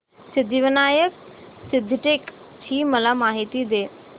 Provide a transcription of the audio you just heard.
सिद्धिविनायक सिद्धटेक ची मला माहिती दे